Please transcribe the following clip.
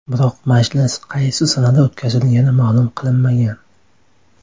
Biroq majlis qaysi sanada o‘tkazilgani ma’lum qilinmagan.